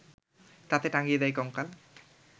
তাতে টাঙিয়ে দেয় কঙ্কাল